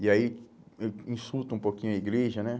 E aí, insulta um pouquinho a igreja, né?